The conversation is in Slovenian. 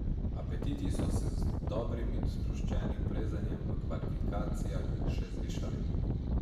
Apetiti so se z dobrim in sproščenim plezanjem v kvalifikacijah še zvišali.